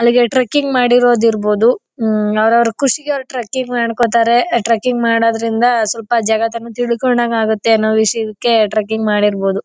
Trekking ಮಾಡಿರೋದು ಇರ್ಬಹುದು. ಅವರವರು ಖುಷಿಗೆ ಅವರ ಟ್ರೆಕಿಂಗ್ ಮಾಡ್ಕೋತಾರೆ ಟ್ರೆಕಿಂಗ್ ಮಾಡೋದ್ರಿಂದ ಸ್ವಲ್ಪ ಜಗತನ ತಿಳ್ಕೊಂಡಂಗ್ ಆಗುತ್ತೆ ಅನ್ನೋ ವಿಷಯಕೆ ಟ್ರೆಕಿಂಗ್ ಮಾಡಿರಬಹುದು.